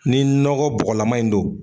Ni nɔgɔ bɔgɔlama in don.